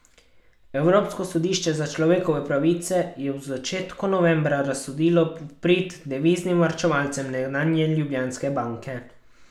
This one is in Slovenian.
Evropsko sodišče za človekove pravice je v začetku novembra razsodilo v prid deviznim varčevalcem nekdanje Ljubljanske banke.